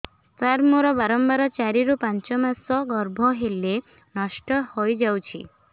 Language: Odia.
ସାର ମୋର ବାରମ୍ବାର ଚାରି ରୁ ପାଞ୍ଚ ମାସ ଗର୍ଭ ହେଲେ ନଷ୍ଟ ହଇଯାଉଛି